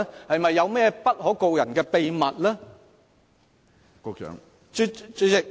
是否有不可告人的秘密？